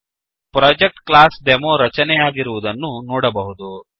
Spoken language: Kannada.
ಪ್ರೊಜೆಕ್ಟ್ ಕ್ಲಾಸ್ಡೆಮೊ ರಚನೆಯಾಗಿರುವುದನ್ನು ನೋಡಬಹುದು